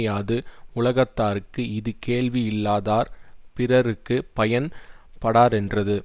யாது உலகத்தார்க்கு இது கேள்வியில்லாதார் பிறர்க்கு பயன் படாரென்றது